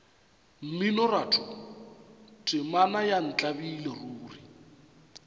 mminoratho temana ya ntlabile ruri